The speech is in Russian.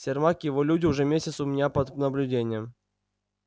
сермак и его люди уже месяц у меня под наблюдением